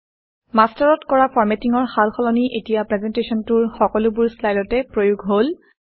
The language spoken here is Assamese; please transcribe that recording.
মাষ্টাৰত কৰা ফৰমেটিঙৰ সাল সলনি এতিয়া প্ৰেজেণ্টেশ্যনটোৰ সকলোবোৰ শ্লাইডতে প্ৰয়োগ হল